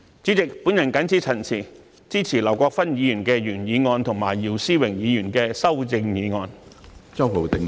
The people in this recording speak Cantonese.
主席，我謹此陳辭，支持劉國勳議員的原議案和姚思榮議員的修正案。